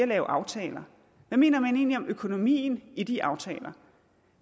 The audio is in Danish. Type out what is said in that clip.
lave aftaler hvad mener man egentlig om økonomien i de aftaler